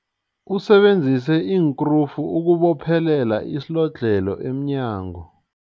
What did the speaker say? Usebenzise iinkrufu ukubophelela isilodlhelo emnyango.